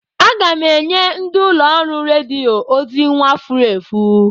Aga m enye ndi ụlọ ọrụ rediyo ozi nwa furu efu.